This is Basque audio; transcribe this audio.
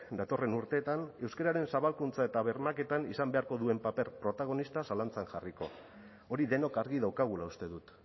datorren urteetan euskararen zabalkuntza eta bermaketan izan beharko duen paper protagonista zalantzan jarriko hori denok argi daukagula uste dut